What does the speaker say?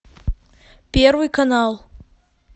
первый канал